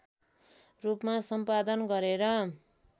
रूपमा सम्पादन गरेर